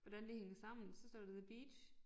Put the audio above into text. Hvordan det hænger sammen så står der the beach